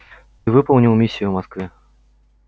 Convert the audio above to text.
ты выполнил миссию в москве